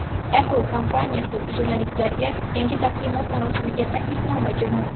Apple kompaniyasi jurnalistlarga yangi taqdimot marosimiga taklifnoma jo‘natdi .